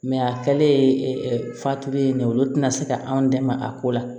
a kɛlen fa tugulen ye olu tɛna se ka anw dɛmɛ a ko la